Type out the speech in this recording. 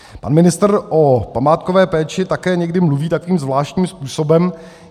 Pan ministr o památkové péči také někdy mluví takovým zvláštním způsobem.